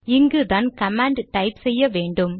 இங்குதான் command type செய்ய வேண்டும்